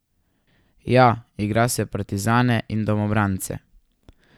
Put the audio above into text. Ja, igra se partizane in domobrance.